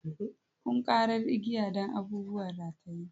Ƙunƙarar igiya don abubuwan rataye.